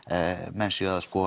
menn séu að